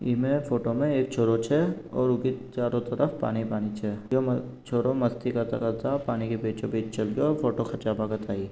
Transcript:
इमे फोटो मैं एक छोरो छे और उ के चारो तरफ पानी-पानी छे यो छोरो मस्ती करता क पानी के बीचोबिच चल रयो फोटो खींचा भगत आयी।